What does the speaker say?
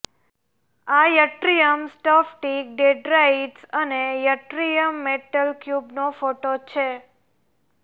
આ યટ્રીયમ સ્ફટિક ડેંડ્રાઇટ્સ અને યટ્રીયમ મેટલ ક્યુબનો ફોટો છે